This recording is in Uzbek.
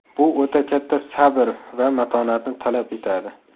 Bu o‘ta katta sabr va matonatni talab etadi.